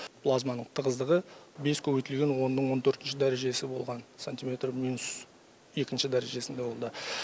плазманың тығыздығы бес көбейтілген онның он төртінші дәрежесі болған сантиметр минус екінші дәрежесінде болды